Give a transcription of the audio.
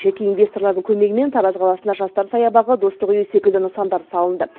жеке инвесторлардың көмегімен тараз қаласына жастар саябағы достық үйі секілді нысандар салынды